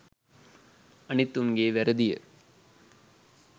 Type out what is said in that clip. අනිත් උන්ගේ වැරදිය..